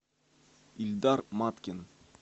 ильдар маткин